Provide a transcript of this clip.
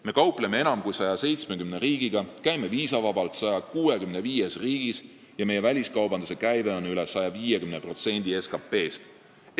Me kaupleme enam kui 170 riigiga, käime viisavabalt 165 riigis ja meie väliskaubanduse käive on üle 150% SKT-st.